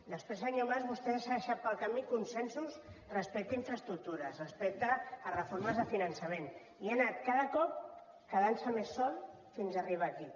després senyor mas vostè s’ha deixat pel camí consensos respecte a infraestructures respecte a reformes de finançament i ha anat cada cop quedant se més sol fins arribar aquí